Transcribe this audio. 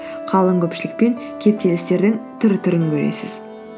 қалың көпшілік пен кептелістердің түр түрін көресіз